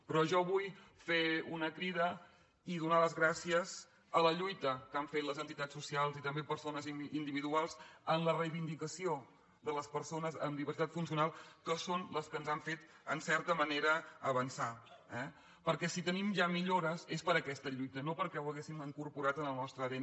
però jo vull fer una crida i donar les gràcies a la lluita que han fet les entitats socials i també persones individuals en la reivindicació de les persones amb diversitat funcional que són les que ens han fet en certa manera avançar eh perquè si tenim ja millores és per aquesta lluita no perquè ho haguéssim incorporant en el nostre adn